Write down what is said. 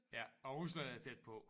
Ja og Rusland er tæt på